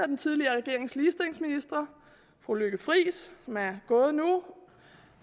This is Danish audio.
den tidligere regerings ligestillingsministre fru lykke friis som er gået nu